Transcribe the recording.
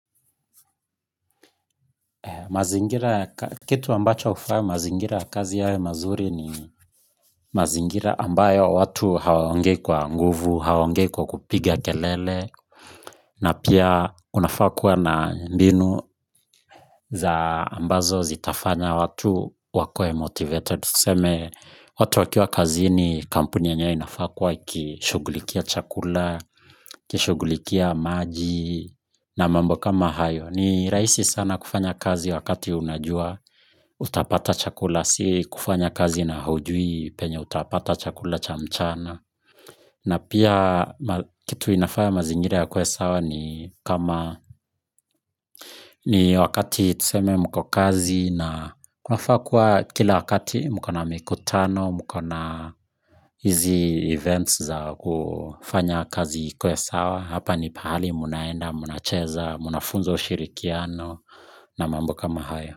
Mazingira ya. Kitu ambacho hufanya mazingira ya kazi yawe mazuri ni mazingira ambayo watu hawaongei kwa nguvu, hawaongei kwa kelele na pia unafaa kuwa na mbinu za ambazo zitafanya watu wa kuwe motivated. Tuseme watu wakiwa kazini kampuni yenyewe inafaa ikishughulikia chakula, ikishughulikia maji na mambo kama hayo. Ni rahisi sana kufanya kazi wakati unajua utapata chakula si kufanya kazi na hujui penye utapata chakula cha mchana. Na pia kitu inafaya mazingira yawe sawa ni kama ni wakati tuseme mko kazi na kunafaa kuwa kila wakati mko na mikutano mko na hizi events za kufanya kazi ikuwe sawa. Hapa ni pahali mnaenda, mnacheza, mnafunzwa ushirikiano na mambo kama haya.